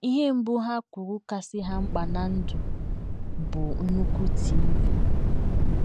Ihe mbụ ha kwuru kasị ha mkpa ná ndụ bụ nnukwu TV!